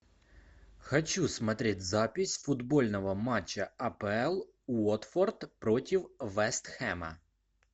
хочу смотреть запись футбольного матча апл уотфорд против вест хэма